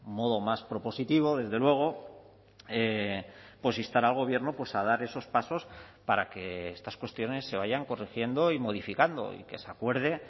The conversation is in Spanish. modo más propositivo desde luego instar al gobierno a dar esos pasos para que estas cuestiones se vayan corrigiendo y modificando y que se acuerde